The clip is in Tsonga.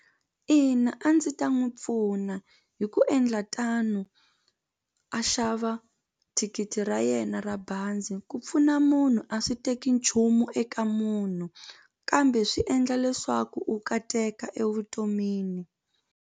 Ina a ndzi ta n'wi pfuna hi ku endla tano a xava thikithi ra yena ra bazi ku pfuna munhu a swi teki nchumu eka munhu kambe swi endla leswaku u kateka evutomini.